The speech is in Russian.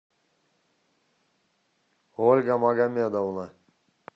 ольга магомедовна